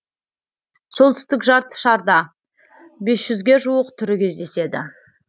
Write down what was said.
солтүстік жарты шарда бес жүзге жуық түрі кездеседі